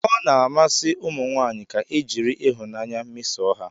Ọ na-amasị ụmụ nwanyị ka e jiri ịhụnanya mesoo ha